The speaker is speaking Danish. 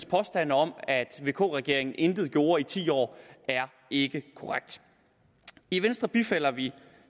påstand om at vk regeringen intet gjorde i ti år er ikke korrekt i venstre bifalder vi